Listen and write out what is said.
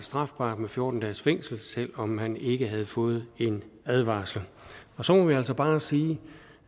strafbart med fjorten dages fængsel selv om man ikke havde fået en advarsel og så må man altså bare sige